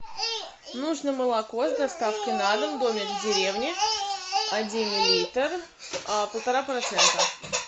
нужно молоко с доставкой на дом домик в деревне один литр полтора процента